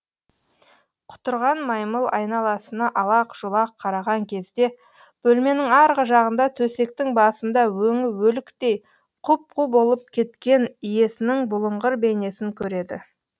құтырған маймыл айналасына алақ жұлақ қараған кезде бөлменің арғы жағында төсектің басында өңі өліктей құп қу болып кеткен иесінің бұлыңғыр бейнесін көреді